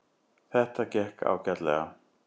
Þetta gekk ágætlega